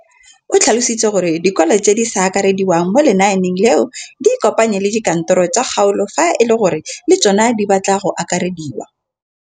O tlhalositse gore dikolo tse di sa akarediwang mo lenaaneng leno di ikopanye le dikantoro tsa kgaolo fa e le gore le tsona di batla go akarediwa.